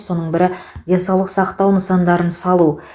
соның бірі денсаулық сақтау нысандарын салу